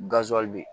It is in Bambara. bɛ yen